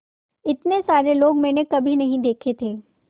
इतने सारे लोग मैंने कभी नहीं देखे थे